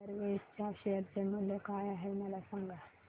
jet Airways च्या share चे मूल्य काय आहे मला सांगा